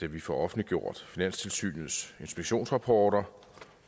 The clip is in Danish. at vi får offentliggjort finanstilsynets inspektionsrapporter